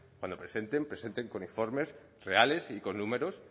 cuando presenten presenten con informes reales y con números